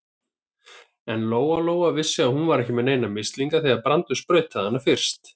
En Lóa-Lóa vissi að hún var ekki með neina mislinga þegar Brandur sprautaði hana fyrst.